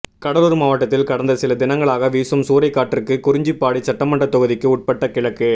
கடலூர் மாவட்டத்தில் கடந்த சிலதினங்களாக வீசும் சூறைக் காற்றுக்கு குறிஞ்சிப்பாடி சட்டமன்றத் தொகுதிக்கு உட்பட்ட கிழக்கு